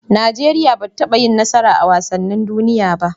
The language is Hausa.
Nigeria bata taba yin nasara a wasanin duniya ba